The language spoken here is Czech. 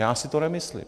Já si to nemyslím.